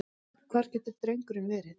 Hvar getur drengurinn verið?